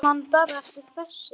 Skilur mann bara eftir, þessi.